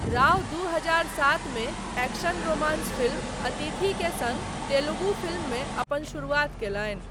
राव दू हजार सात मे एक्शन रोमांस फिल्म 'अतिथि' के सङ्ग तेलुगु फिल्ममे अपन शुरुआत कयलनि।